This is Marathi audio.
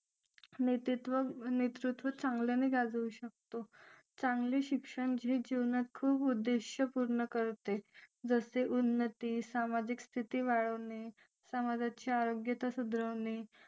नेतृत्व चांगल्याने गाजवू शकतो चांगले शिक्षण हे जीवनात खूप उद्देश पूर्ण करते जसे उन्नती सामाजिक स्थिती वाढवणे समाजाची आरोग्यता सुधारणे